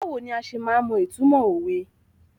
Báwo ni a se máa ń mọ ìtumọ̀ òwe?